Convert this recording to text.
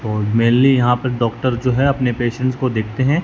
Mainly यहां पर doctor जो है अपने पेशेंट्स को देखते हैं।